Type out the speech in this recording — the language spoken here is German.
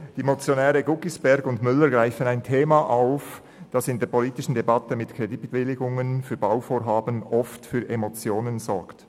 Die Motionäre Guggisberg und Müller greifen ein Thema auf, das in der politischen Debatte mit Kreditbewilligungen für Bauvorhaben oft für Emotionen sorgt.